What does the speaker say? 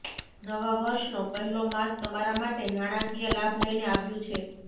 નવા વર્ષનો પહેલો માસ તમારા માટે નાણાકીય લાભ લઈને આવ્યું છે